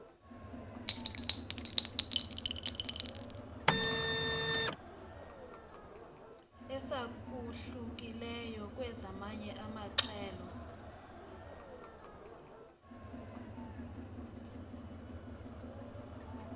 esahlukileyo kwezamanye amahlelo